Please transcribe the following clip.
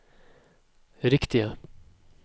riktige